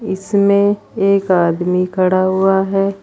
इसमें एक आदमी खड़ा हुआ है।